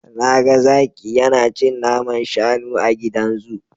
Na ga zaki yana cin naman shanu a gidan zu.